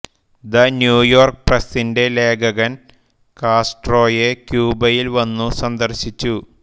the New York പ്രസ്സിന്റെ ലേഖകൻ കാസ്ട്രോയെ ക്യൂബയിൽ വന്നു സന്ദർശിച്ചു